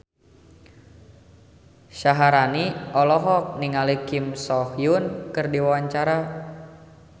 Syaharani olohok ningali Kim So Hyun keur diwawancara